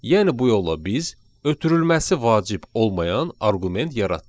Yəni bu yolla biz ötürülməsi vacib olmayan arqument yaratdıq.